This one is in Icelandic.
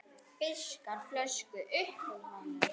Fiskar flösku upp úr honum.